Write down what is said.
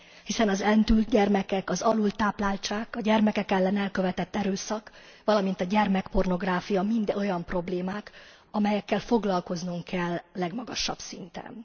Hiszen az eltűnt gyermekek, az alultápláltság, a gyermekek ellen elkövetett erőszak, valamint a gyermekpornográfia mind olyan problémák, amelyekkel foglalkoznunk kell legmagasabb szinten.